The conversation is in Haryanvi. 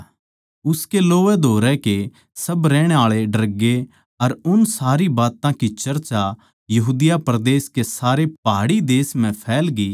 उसके लोवैधोरै कै सब रहण आळे डरगे अर उन सारी बात्तां की चर्चा यहूदिया कै सारे पहाड़ी देश म्ह फैलगी